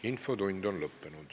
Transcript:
Infotund on lõppenud.